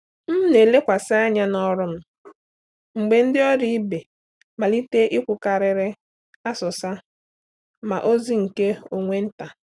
M na-elekwasị anya n’ọrụ m mgbe ndị ọrụ ibe malite ikwukarịrị asụsa ma ozi nke onwe nta.